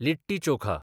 litti chokha